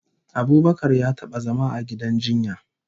Abubakar ya taba zama a gidan jinya